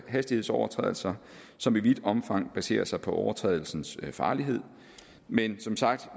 hastighedsovertrædelser som i vidt omfang baserer sig på overtrædelsens farlighed men som sagt